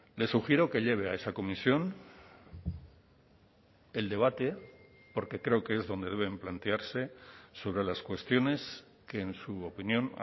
le sugiero que lleve a esa comisión el debate porque creo que es donde deben plantearse sobre las cuestiones que en su opinión